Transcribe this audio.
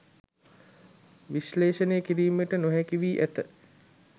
විශ්ලේෂණය කිරීමට නොහැකි වී ඇත